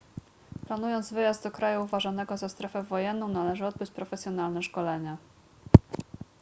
planując wyjazd do kraju uważanego za strefę wojenną należy odbyć profesjonalne szkolenie